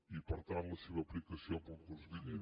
i per tant la seva aplicació per al curs vinent